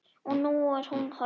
Og nú er hún horfin.